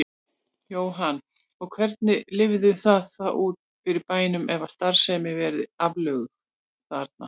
Jóhann: Og hvernig lítur það þá út fyrir bænum ef að starfsemin verði aflögð þarna?